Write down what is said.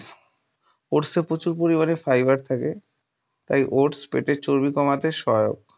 oats সে প্রচুর পরিমানে fiber থাকে তাই oats পেটের চর্বি কমাতে সহায়ক ।